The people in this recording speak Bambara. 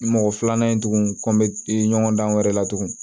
Mɔgɔ filanan in tuguni ko n bɛ ɲɔgɔn dan wɛrɛ la tugun